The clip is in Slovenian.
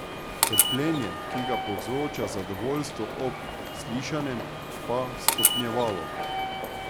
Trpljenje, ki ga povzroča zadovoljstvo ob slišanem, pa stopnjevalo.